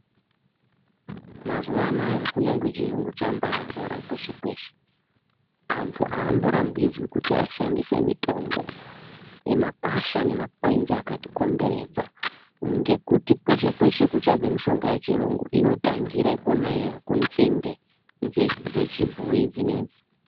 Mazuvanaya kunyangwe chiyungu chambazara kweshe kweshe antu amborambidzwi kuti ashandisae mitombo yemakwasha nemakwenzi akatikomberedza ngekuti kweshe kweshe kunobva mutombo yechiyungu inotangire kwona iyoyo kunzinde dzechibhoyi dzinedzi.